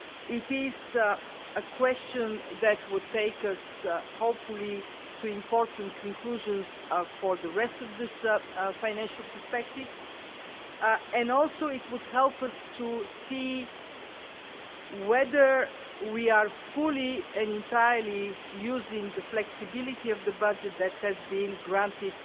It is a question that will take us, hopefully, to important conclusions for the rest of this financial perspective, and also it would help us to see whether we are fully and entirely using the flexibility of the budget that has been granted